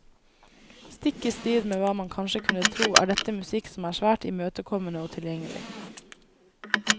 Stikk i strid med hva man kanskje kunne tro er dette musikk som er svært imøtekommende og tilgjengelig.